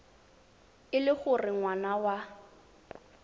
e le gore ngwana wa